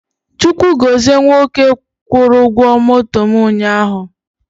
Chukwu gọzie nwoke kwụrụ ụgwọ moto mụ ụnyaahụ